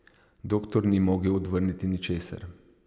Doktor ni mogel odvrniti ničesar.